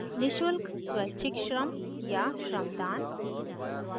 1 नि: शुल्क स्वैच्छिक श्रम या shramdaan